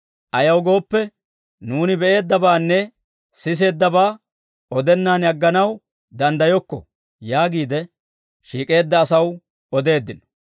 Ayaw gooppe, nuuni be'eeddabaanne siseeddabaa odennaan agganaw danddayokko» yaagiide shiik'eedda asaw odeeddino.